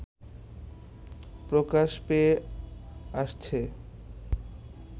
প্রকাশ পেয়ে আসছে